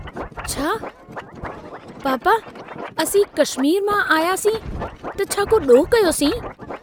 छा, पापा असीं कश्मीर मां आयासीं त छा को ॾोहु कयोसीं?